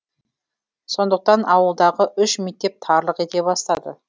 сондықтан ауылдағы үш мектеп тарлық ете бастады